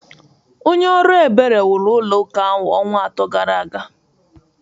Onye ọrụ ebere wuru ụlọ ụka ahụ ọnwa atọ gara aga